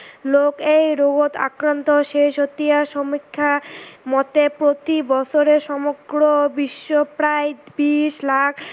লোক এই ৰোগত আক্ৰান্ত শেহতীয়া সমীক্ষা মতে প্ৰতি বছৰে সমগ্ৰ বিশ্বত প্ৰায় বিছ লাখ